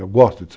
Eu gosto disso.